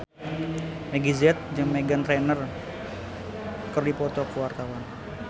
Meggie Z jeung Meghan Trainor keur dipoto ku wartawan